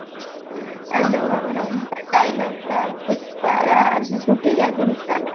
ଯୋଉ ଆମର ତା dialogue ଟା ପୁଷ୍ପା